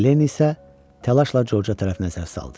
Len isə təlaşla Corca tərəf nəzər saldı.